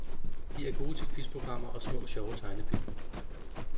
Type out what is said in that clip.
De er gode til quizprogrammer og små sjove tegnefilm.